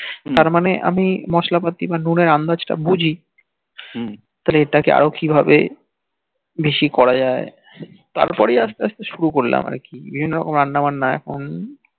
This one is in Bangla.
তার মানে আমি মশলা পাতির বা নুন এর আন্দাজ তা বুঝি হম যে এটাকে আরও কিভাবে বেশি করা যাই তারপরেই আসতে আসতে সুরু করলাম আর কি বিভিন্ন রকম রান্না বান্না এখন